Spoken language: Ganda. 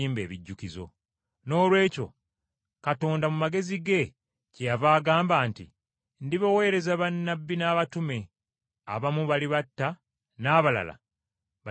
Noolwekyo Katonda mu magezi ge, kyeyava agamba nti, ‘Ndibaweereza bannabbi n’abatume, abamu balibatta n’abalala balibayigganya.’